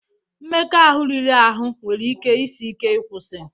Mmekọahụ ahụ riri ahụ nwere ike isi ike ịkwụsị